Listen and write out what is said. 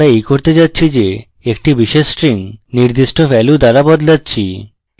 আমরা এই করতে যাচ্ছি যে একটি বিশেষ string নির্দিষ্ট value দ্বারা বদলাচ্ছি